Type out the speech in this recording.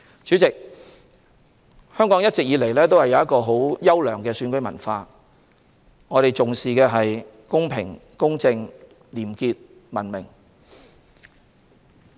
主席，香港一直以來有優良的選舉文化，我們重視公平、公正、廉潔和文明。